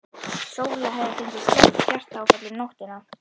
Sóla hefði fengið slæmt hjartaáfall um nóttina.